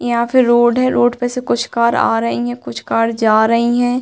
यहाँ पे रोड है। रोड पर कुछ कार आ रही हैं। कुछ कार जा रही हैं।